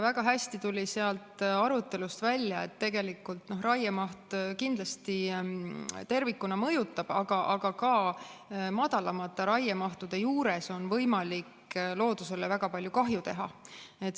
Väga hästi tuli sealt arutelust välja, et tegelikult raiemaht kindlasti tervikuna mõjutab, aga ka madalamate raiemahtude juures on võimalik loodusele väga palju kahju teha.